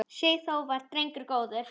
Sigþór var drengur góður.